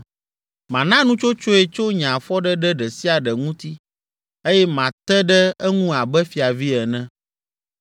Mana nutsotsoe tso nye afɔɖeɖe ɖe sia ɖe ŋuti eye mate ɖe eŋu abe fiavi ene.